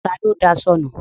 Ta ló daṣọ nu?